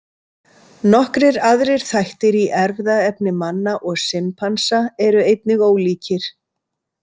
Nokkrir aðrir þættir í erfðaefni manna og simpansa eru einnig ólíkir.